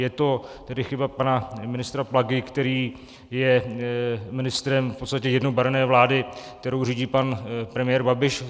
Je to tedy chyba pana ministra Plagy, který je ministrem v podstatě jednobarevné vlády, kterou řídí pan premiér Babiš?